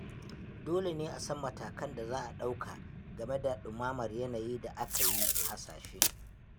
Dole ne a san matakin da za a ɗauka game da ɗumamar yanayin da aka yi hasashe